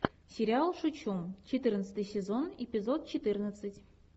сериал шучу четырнадцатый сезон эпизод четырнадцать